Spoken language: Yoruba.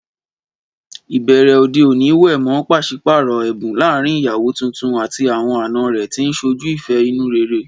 Ìbẹ̀rẹ̀ òde òní wé mọ́ pàṣípààrọ̀ ẹ̀bùn láàárín ìyàwó tuntun àti àwọn àna rẹ̀, tí ń ṣojú ìfẹ́ inú rere.